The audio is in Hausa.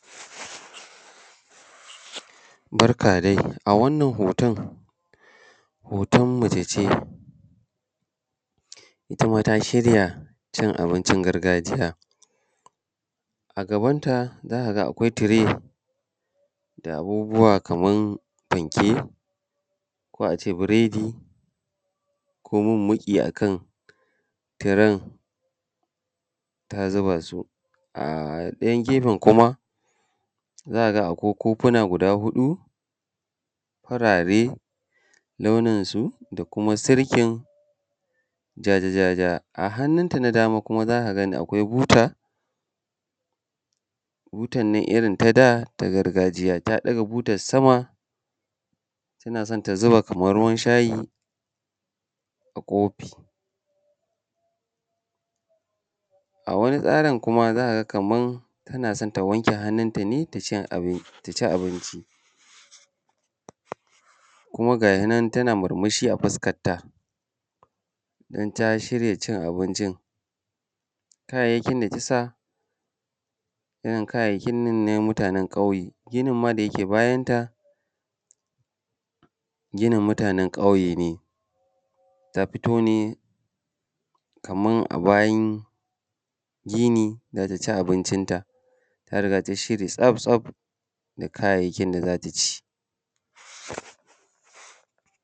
Barka dai a wannan hoton, hoton mace ce ita ma ta shirya cin abincin gargajiya, a gabanta za ka ga akwai tire da abubuwa kaman fanke, ko a ce biredi, ko mummuƙi a kan tiran ta zuba su, a ɗayan gefan kuma za ka ga akwai kofuna guda huɗu farare launin su da kuma sirkin ja ja ja ja. A hanunta na dama kuma za ka ga akwai buta, butan nan irin ta da ta gargajiya, ta ɗaga butan sama tana so kaman ta zuba ruwan shayi a kofi. A wani tsarin kuma za ka ga kaman tana so ta wanke hanunta ne ta ci abinci. Kuma gashi nan ta murmushi a fuskanta don ta shirya cin abincin. Kayayyakin da ta sa irin kayayyakin nan ne na mutanan ƙwauye, ginin ma da yake bayan ta ginin mutanan ƙauye ne. ta fito ne kaman a bayan gini za ta ci abincin ta, ta riga tayi shiri tsaf-tsaf da kayayyakin da zata ci.